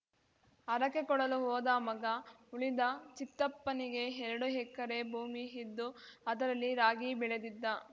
ಹರಕೆ ಕೊಡಲು ಹೋದ ಮಗ ಉಳಿದ ಚಿತ್ತಪ್ಪನಿಗೆ ಎರಡು ಎಕರೆ ಭೂಮಿ ಇದ್ದು ಅದರಲ್ಲಿ ರಾಗಿ ಬೆಳೆದಿದ್ದ